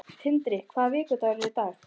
Tindri, hvaða vikudagur er í dag?